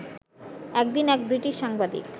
একদিন এক ব্রিটিশ সাংবাদিক